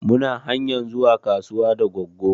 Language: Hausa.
Mu na hanyar zuwa kasuwa da goggo